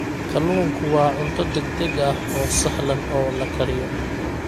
Kalluunku waa cunto degdeg ah oo sahlan oo la kariyo.